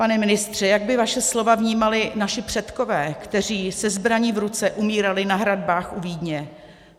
Pane ministře, jak by vaše slova vnímali naši předkové, kteří se zbraní v ruce umírali na hradbách u Vídně?